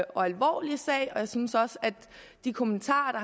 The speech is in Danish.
og alvorlig sag og jeg synes også at de kommentarer